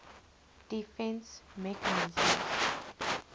defence mechanism